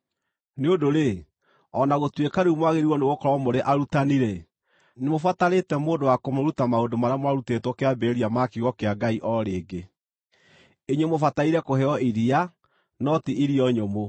Nĩ ũndũ-rĩ, o na gũtuĩka rĩu mwagĩrĩirwo nĩgũkorwo mũrĩ arutani-rĩ, nĩmũbatarĩte mũndũ wa kũmũruta maũndũ marĩa mwarutĩtwo kĩambĩrĩria ma kiugo kĩa Ngai o rĩngĩ. Inyuĩ mũbataire kũheo iria, no ti irio nyũmũ!